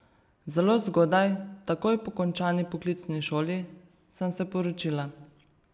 Zelo zgodaj, takoj po končani poklicni šoli, sem se poročila.